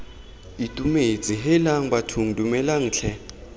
itumetse heelang bathong dumelang tlhe